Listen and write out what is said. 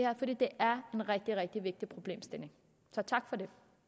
er en rigtig rigtig vigtig problemstilling så tak